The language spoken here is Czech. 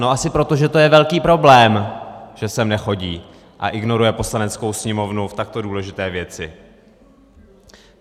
No asi proto, že to je velký problém, že sem nechodí a ignoruje Poslaneckou sněmovnu v takto důležité věci.